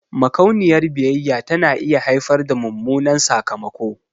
Makauniyar biyayya tana iya haifar da mummunan sakamako.